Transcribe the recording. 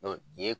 nin ye